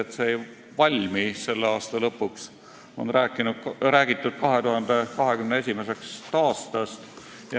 Karta on, et süsteem ei valmi selle aasta lõpuks, on räägitud 2021. aastast.